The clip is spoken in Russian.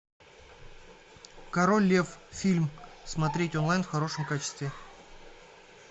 король лев фильм смотреть онлайн в хорошем качестве